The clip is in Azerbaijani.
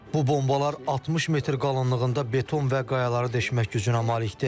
Bu bombalar 60 metr qalınlığında beton və qayaları deşmək gücünə malikdir.